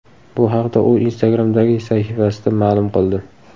Bu haqda u Instagram’dagi sahifasida ma’lum qildi .